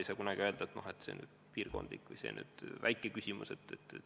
Ei tohi kunagi öelda, et see on lihtsalt piirkondlik mure või see on nüüd väike küsimus.